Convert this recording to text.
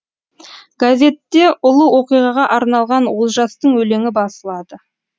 газетте ұлы оқиғаға арналған олжастың өлеңі басылады